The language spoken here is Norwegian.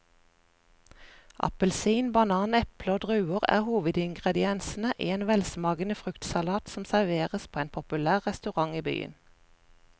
Appelsin, banan, eple og druer er hovedingredienser i en velsmakende fruktsalat som serveres på en populær restaurant i byen.